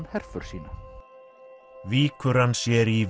herför sína víkur hann sér í